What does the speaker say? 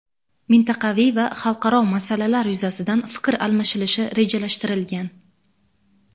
mintaqaviy va xalqaro masalalar yuzasidan fikr almashilishi rejalashtirilgan.